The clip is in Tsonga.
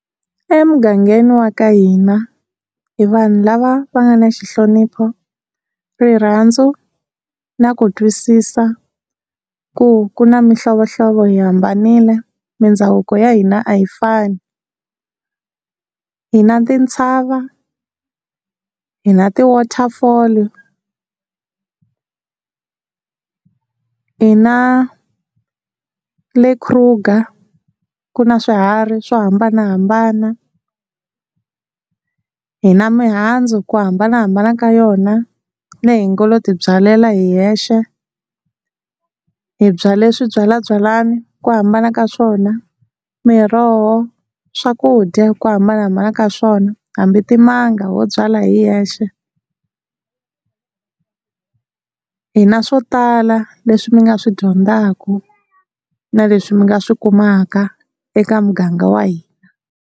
Emugangeni wa ka hina hi vanhu lava va nga na xi nhlonipho, rirhandzu na ku twisisa ku ku na mihlovohlovo hi hambanile mindhavuko ya hina a hi fani, hi na tintshava, hi na ti-waterfall hi na le Kruger ku na swiharhi swo hambanahambana, hi na mihandzu ku hambanahambana ka yona leyi hi ngo lo ti byalela hi hexe, hi byale swi byalwabyalani ku hambana ka swona miroho swakudya ku hambanahambana ka swona hambi timanga wo byala hi hexe hi na swo tala leswi mi nga swi dyondzaka na leswi mi nga swi kumaka eka muganga wa hina.